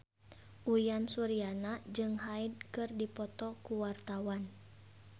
Uyan Suryana jeung Hyde keur dipoto ku wartawan